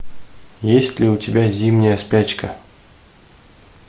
есть ли у тебя зимняя спячка